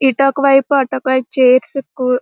ఇటు ఒకవైపు అటు ఒకవైపు చైర్స్ కు --